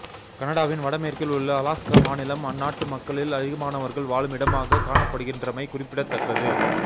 கனடாவின் வடமேற்கில் உள்ள அலாஸ்கா மாநிலம் அந்நாட்டு மக்களில் அதிகமானவர்கள் வாழும் இடமாக காணப்படுகின்றமை குறிப்பிடத்தக்கது